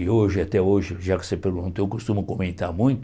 E hoje, até hoje, já que você perguntou, eu costumo comentar muito.